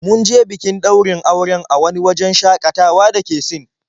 Mun je bikin ɗaurin auren a wani wajen shaƙatawa da ke Sin.